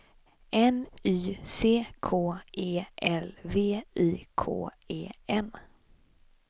N Y C K E L V I K E N